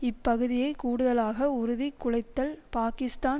இப்பகுதியை கூடுதலாக உறுதி குலைத்தல் பாக்கிஸ்தான்